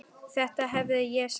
Þetta hefði ég sagt.